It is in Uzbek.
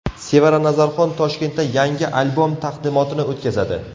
Sevara Nazarxon Toshkentda yangi albom taqdimotini o‘tkazadi.